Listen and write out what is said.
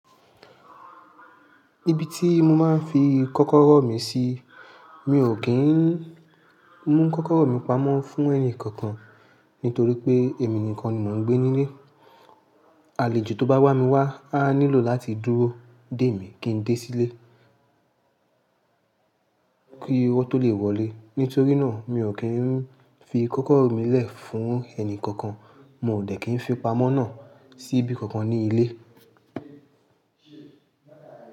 Ibi ti mo maa n fi kọ́kọ́rọ́ mi si. Mi o ki n mu kọ́kọ́rọ́ mi pamọ́ fún ẹni kankan nítorí pé èmi nìkan ni mò ń gbé ní ilé. Àlejò to bá wà mí wá, a nílò láti dúró dé mi kí n dé sílé kí wọ́n tó lè wọlé. Nítorí náà, mi ò kí n fi kọ́kọ́rọ́ mi lẹ̀ fún ẹni kankan. Mi o dẹ̀ kí n fi pamọ́ náà sí ibi kankan ní ilé.